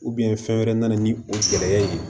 fɛn wɛrɛ nana ni o gɛlɛya ye